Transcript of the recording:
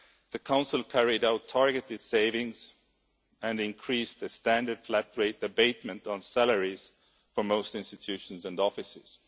The Council carried out targeted savings and increased the standard flat rate abatement on salaries for most institutions and offices.